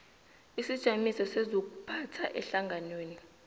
isijamiso sezokuphatha ehlanganweni